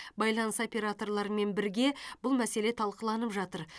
байланыс операторларымен бірге бұл мәселе талқыланып жатыр